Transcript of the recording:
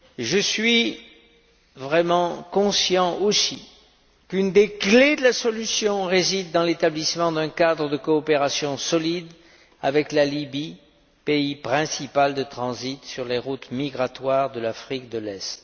Je suis vraiment conscient aussi qu'une des clés de la solution réside dans l'établissement d'un cadre de coopération solide avec la Libye, pays principal de transit sur les routes migratoires de l'Afrique de l'Est.